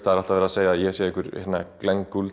það er alltaf verið að segja að ég sé einhver